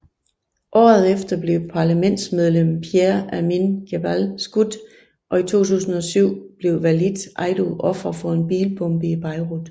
Året efter blev parlamentsmedlem Pierre Amine Gemayel skudt og i 2007 blev Walid Eido offer for en bilbombe i Beirut